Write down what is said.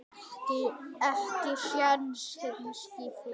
Ekki nokkra.